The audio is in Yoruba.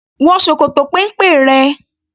Wọ ṣòkòtò péńpé rẹ!